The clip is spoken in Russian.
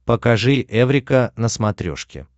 покажи эврика на смотрешке